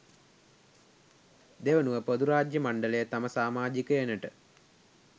දෙවනුව පොදුරාජ්‍ය මණ්ඩලය තම සාමාජිකයනට